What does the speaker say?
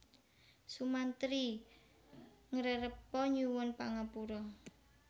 Sumantri ngrerepa nyuwun pangapura